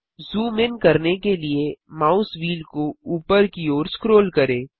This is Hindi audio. जूम इन करने के लिए माउस व्हील को ऊपर की ओर स्क्रोल करें